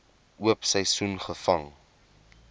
oop seisoen gevang